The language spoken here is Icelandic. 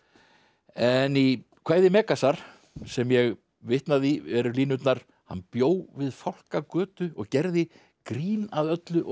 en í kvæði Megasar sem ég vitnaði í eru línurnar hann bjó við Fálkagötu og gerði grín að öllu og